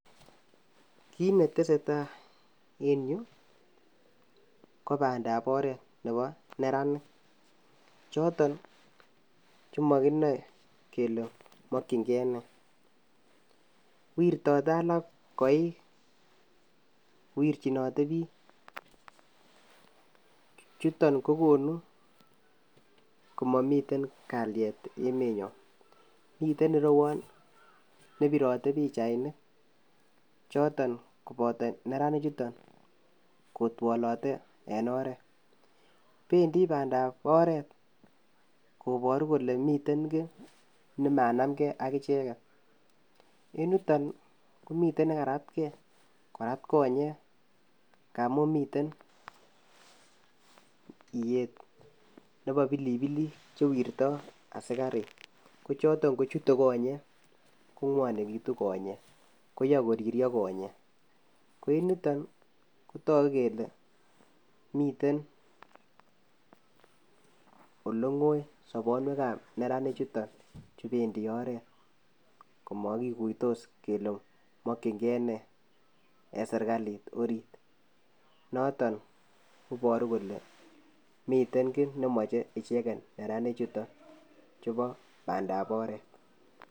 kit netesetai en yuu kopandap oret nebo neranik choton komokinoe kele mokin gee nee, wirtote alak koik kowirjinote biik chuton kokonu komomiten kalien emenyon mieten irewon nebirote pichainik choton kopoto nerani chutok kotwolote en oret, pendii pandap oret koboru kole miten kii nemanam gee ak icheket, en yutok komiten nekarat gee korat konyek ngamun miten iyet nebo pilipilik chewirto asikarik kochoton kochute konyek kongwonekitu konyek koyoe koriryo konyek ko en ko en yutok kotoku kele mite ole ngoi sobonuek ab neranik chutok chupendii oret komokikuitos kele mokin gee nee en sirkalit orit noton koboru kole miten kii nemoche neranik chutok chubo pandap oret.